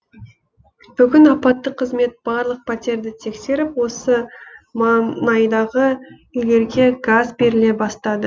бүгін апаттық қызмет барлық пәтерді тексеріп осы маңайдағы үйлерге газ беріле бастады